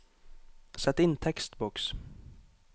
Sett inn tekstboks